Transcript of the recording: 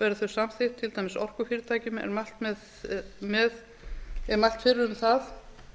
verði þau samþykkt til dæmis orkufyrirtækjum er mælt fyrir um það